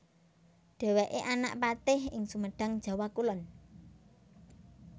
Dhèwèké anak patih ing Sumedang Jawa Kulon